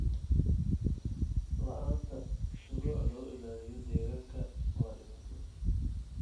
La'aanta shuruuc lagu ilaaliyo deegaanka waa dhibaato.